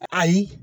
Ayi